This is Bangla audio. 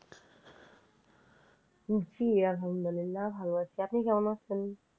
জি আলহামদুলিল্লাহ ভালো আছি, আপনি কেমন আছেন?